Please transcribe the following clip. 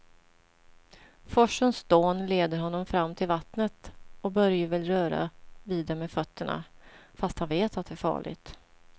Forsens dån leder honom fram till vattnet och Börje vill röra vid det med fötterna, fast han vet att det är farligt.